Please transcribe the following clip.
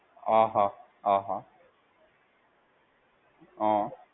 આ હા આ હા હા.